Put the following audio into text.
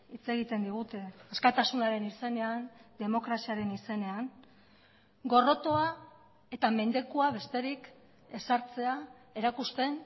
hitz egiten digute askatasunaren izenean demokraziaren izenean gorrotoa eta mendekua besterik ezartzea erakusten